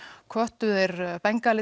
hvöttu þeir